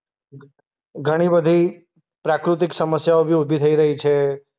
ઘણી બધી પ્રાકૃતિક સમસ્યાઓ બી ઉભી થઈ રહી છે.